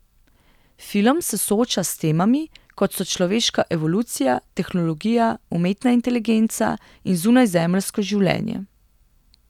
Film se sooča s temami, kot so človeška evolucija, tehnologija, umetna inteligenca in zunajzemeljsko življenje.